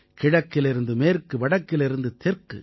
கிழக்கிலிருந்து மேற்கு வடக்கிலிருந்து தெற்கு